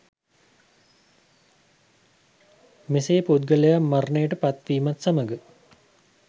මෙසේ පුද්ගලයා මරණයට පත්වීමත් සමග